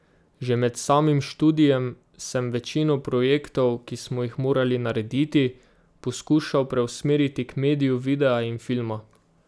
Že med samim študijem sem večino projektov, ki smo jih morali narediti, poskušal preusmeriti k mediju videa in filma.